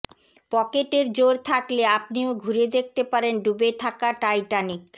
পকেটের জোর থাকলে আপনিও ঘুরে দেখতে পারেন ডুবে থাকা টাইটানিক